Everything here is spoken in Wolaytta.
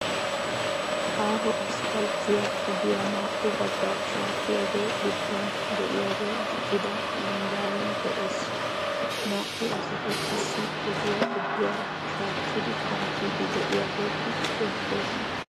Aaho asppalttiyaa ogiyaa naa"u baggaa shaakkiyaagee gidduwan de"iyaagee diccida zambbaabay de'ees. Naa"u asati qassi ogiyaa gidduwaara shaakkidi kanttiiddi de'iyaageeti beettoosona.